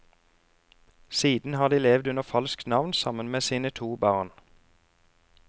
Siden har de levd under falskt navn sammen med sine to barn.